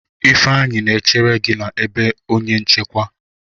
Ifeanyi na-echere gi na ebe onye nchekwa.